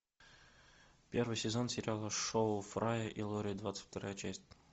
первый сезон сериала шоу фрая и лори двадцать вторая часть